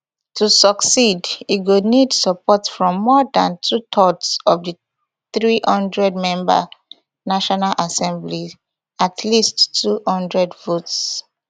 to succeed e go need support from more dan twothirds of di three hundredmember national assembly at least two hundred votes